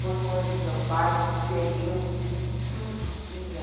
Foi um ano que meu pai perdeu tudo que tinha.